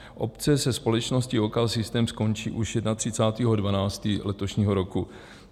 Obce se společností OKsystem skončí už 31. 12. letošního roku.